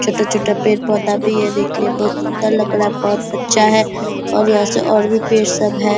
छोटा-छोटा पेड़-पोधा भी है देखने मे बहुत अच्छा लग रहा है बहुत अच्छा है और यहाँ से और भी पेड़ सब है।